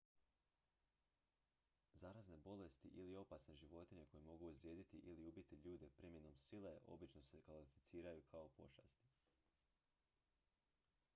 zarazne bolesti ili opasne životinje koje mogu ozlijediti ili ubiti ljude primjenom sile obično se ne klasificiraju kao pošasti